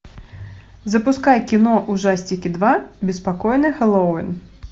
запускай кино ужастики два беспокойный хэллоуин